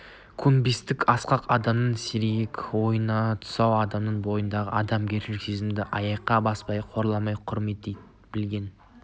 көнбістік асқақ адамның сергек ойына тұсау адам бойындағы адамгершілік сезімді аяққа баспай қорламай құрметтей білген